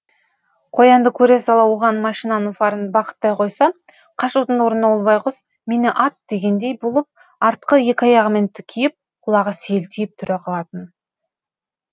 қоянды көре сала оған машинаның фарын бағыттай қойса қашудың орнына ол байғұс мені ат дегендей болып артқы екі аяғымен тікиіп құлағы селтиіп тұра калатын